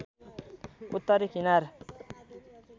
उत्तरी कनार